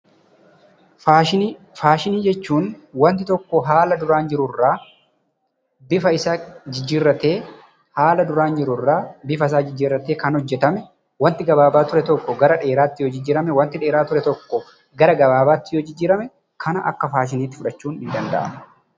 Faashinii, faashinii jechuun waanti tokko haala duraan jiru irraa bifa isaa jijjiratee Kan hojjetame. waanti gabaabaa ture tokko Gara dheeraatti yoo jijjirame, waanti dheeraa ture tokko Gara gabaabaatti yoo jijjirame kana akka faashiniitti fudhachuun ni danda'ama.